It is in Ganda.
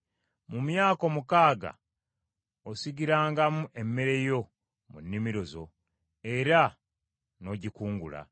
“Mu myaka omukaaga osigirangamu emmere yo mu nnimiro zo era n’ogikungula;